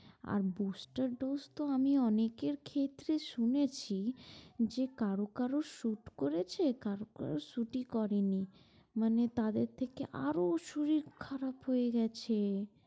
আর booster dose তো আমি অনেকের ক্ষেত্রে শুনেছি যে কারো কারো shoot করেছে কারো কারো shoot ই করেনি মানে তাদের থেকে আরো শরীর খারাপ হয়ে গেছে।